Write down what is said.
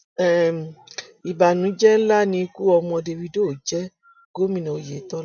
um ìbànújẹ ńlá ni ikú ọmọ dávido jẹ gómìnà oyetola